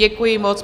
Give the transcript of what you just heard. Děkuji moc.